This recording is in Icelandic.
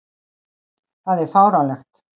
Það er fáránlegt.